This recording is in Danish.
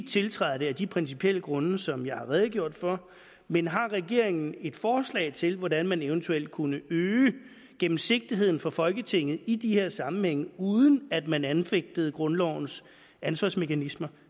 tiltræde det af de principielle grunde som jeg har redegjort for men har regeringen et forslag til hvordan man eventuelt kunne øge gennemsigtigheden for folketinget i de her sammenhænge uden at man anfægtede grundlovens ansvarsmekanismer